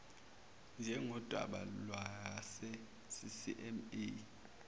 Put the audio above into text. njengodaba lwase ccma